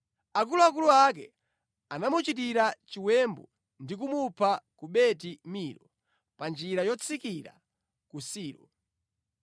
Akuluakulu ake anamuchitira chiwembu ndi kumupha ku Beti Milo, pa njira yotsikira ku Silo.